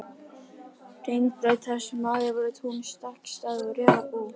Hringbraut, þar sem áður voru tún, stakkstæði og refabú.